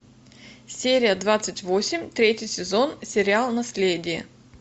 серия двадцать восемь третий сезон сериал наследие